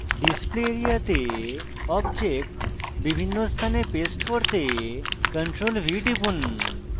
display area তে object বিভিন্ন স্থানে paste করতে ctrl + v টিপুন